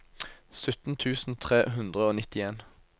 sytten tusen tre hundre og nittien